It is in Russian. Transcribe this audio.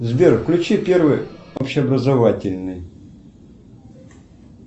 сбер включи первый общеобразовательный